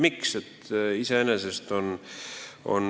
Miks?